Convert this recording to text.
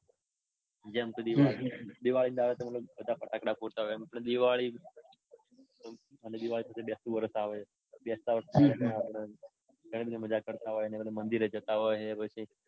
જેમ દિવાળી. દિવાળી ના દાડે બધા ફટાકડા ફોડતા હોય અને દિવાળી દિવાળી પછી બેસતુવરસ આવે. બેસ્તવારસ માં ઘણી બધી મજા કરતા હોય ને મંદિરે જતાં હોય.